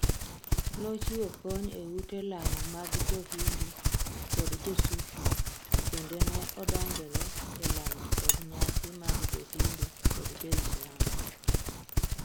Nochiwo kony e ute lamo mag Jo Hindu kod Jo Sufi, kendo ne odonjore e lamo kod nyasi mag Jo Hindu kod joislam